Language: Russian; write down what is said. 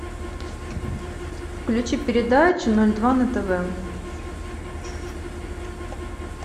включи передачу ноль два на тв